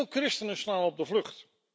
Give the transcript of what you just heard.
Veel christenen slaan op de vlucht.